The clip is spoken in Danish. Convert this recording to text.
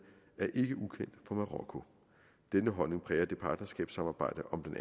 er ikke ukendt for marokko denne holdning præger det partnerskabssamarbejde om